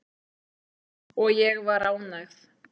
Og ég var ánægð.